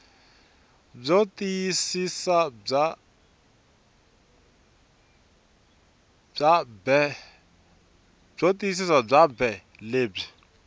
byo tiyisisa bya bee lebyi